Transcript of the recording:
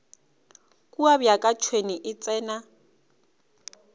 kua bjaka tšhwene e tsena